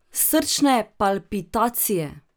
Srčne palpitacije.